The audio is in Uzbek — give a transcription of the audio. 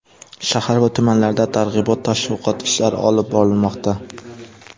Shahar va tumanlarda targ‘ibot-tashviqot ishlari olib borilmoqda.